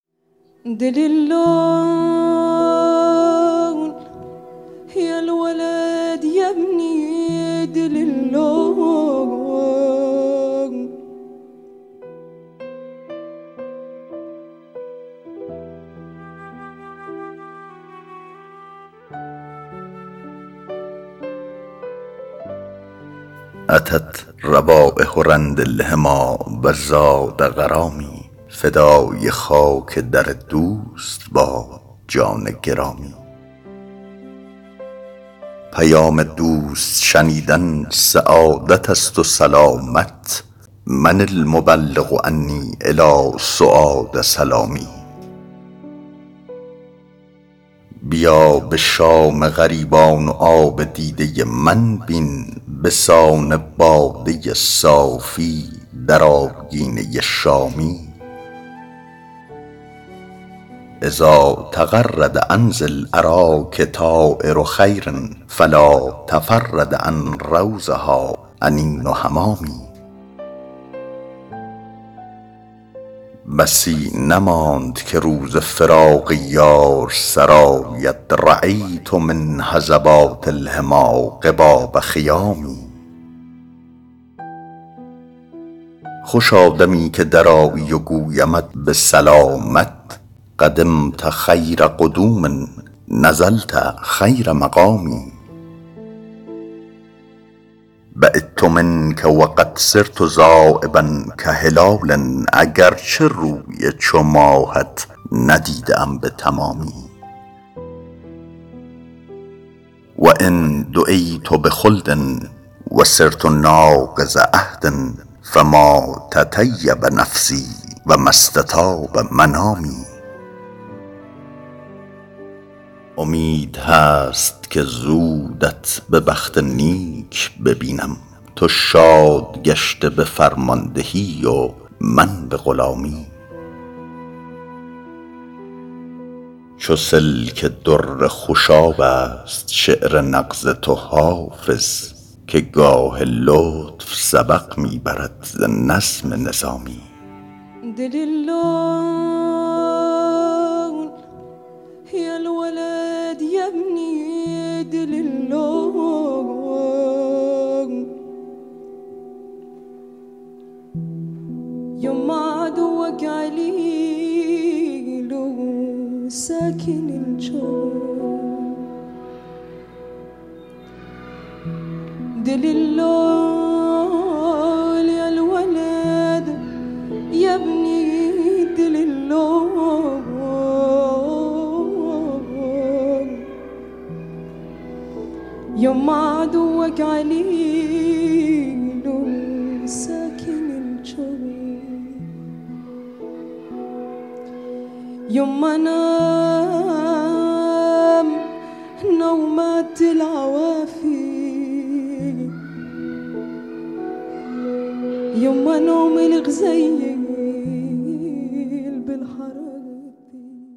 أتت روایح رند الحمیٰ و زاد غرامی فدای خاک در دوست باد جان گرامی پیام دوست شنیدن سعادت است و سلامت من المبلغ عنی إلی سعاد سلامی بیا به شام غریبان و آب دیده من بین به سان باده صافی در آبگینه شامی إذا تغرد عن ذی الأراک طایر خیر فلا تفرد عن روضها أنین حمامي بسی نماند که روز فراق یار سر آید رأیت من هضبات الحمیٰ قباب خیام خوشا دمی که درآیی و گویمت به سلامت قدمت خیر قدوم نزلت خیر مقام بعدت منک و قد صرت ذایبا کهلال اگر چه روی چو ماهت ندیده ام به تمامی و إن دعیت بخلد و صرت ناقض عهد فما تطیب نفسی و ما استطاب منامی امید هست که زودت به بخت نیک ببینم تو شاد گشته به فرماندهی و من به غلامی چو سلک در خوشاب است شعر نغز تو حافظ که گاه لطف سبق می برد ز نظم نظامی